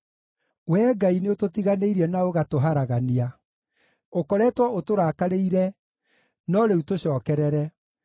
Wee Ngai nĩũtũtiganĩirie na ũgatũharagania; ũkoretwo ũtũrakarĩire, no rĩu tũcookerere!